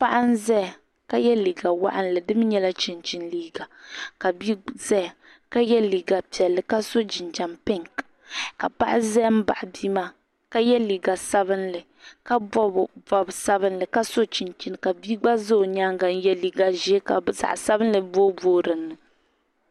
Paɣa n-zaya ka ye liiga waɣinli di mi nyɛla chinchini liiga ka bia zaya ka ye liiga piɛlli ka so jinjam pinki ka paɣa za m-baɣi bia maa ka ye liiga sabinli ka bɛbi bɔb' sabinli ka so chinchini ka bia gba za o nyaaŋa ka ye liiga ʒee ka zaɣ' sabinli boobooi di puuni.